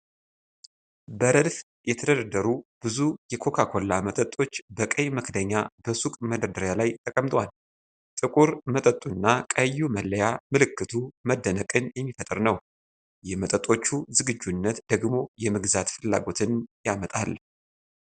በረድፍ የተደረደሩ ብዙ የኮካ ኮላ መጠጦች በቀይ መክደኛ በሱቅ መደርደሪያ ላይ ተቀምጠዋል። ጥቁር መጠጡና ቀዩ መለያ ምልክቱ መደነቅን የሚፈጥር ነው፣ የመጠጦቹ ዝግጁነት ደግሞ የመግዛት ፍላጎትን ያመጣል።